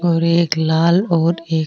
और एक लाल और एक --